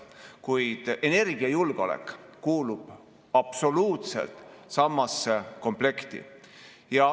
Kuid energiajulgeolek kuulub absoluutselt samasse komplekti.